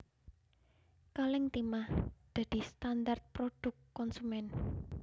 Kalèng timah dadi standar prodhuk konsumén